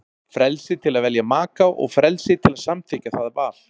Frelsi til að velja maka og frelsi til að samþykkja það val.